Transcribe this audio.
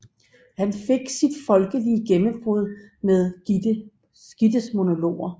Han fik sit folkelige gennembrud med Gittes monologer